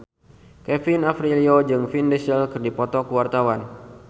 Kevin Aprilio jeung Vin Diesel keur dipoto ku wartawan